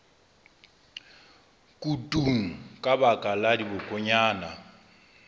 kutung ka baka la dibokonyana